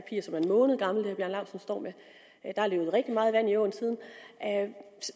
måned gammel der er løbet rigtig meget vand i åen siden